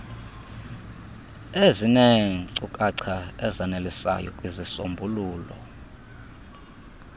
ezineenkcukacha ezanelisayo kwizisombululo